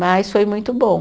Mas foi muito bom.